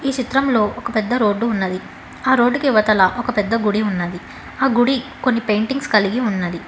ఈ చిత్రంలో ఒక పెద్ద రోడ్డు ఉన్నది ఆ రోడ్డు కి ఇవతల ఒక పెద్ద గుడి ఉన్నది ఆ గుడి కొన్ని పెయింటింగ్స్ కలిగి ఉన్నది.